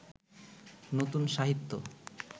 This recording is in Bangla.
নতুন সাহিত্য